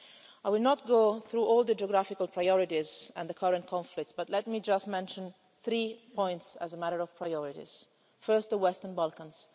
I will not go through all the geographical priorities and the current conflicts, but let me just mention three points as a matter of priority first, the Western Balkans.